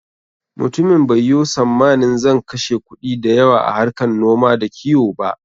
Mutumin bai yo sammanin zan kashe kuɗi da yawa a harkar noma da kiwo ba.